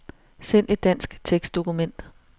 Send et dansk tekstdokument.